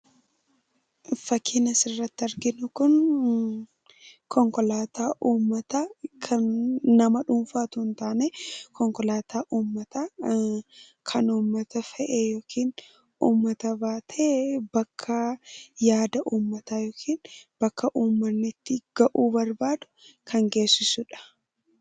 Fakkiin asirratti arginu kun konkolaataa uummataa kan nama dhuunfaa utuu hin taane, konkolaataa uummataa, kan uummata fe'ee yookiin uummata baatee bakka yaada uummataa yookiin bakka uummanni itti gahuu barbaadu kan geessisudha.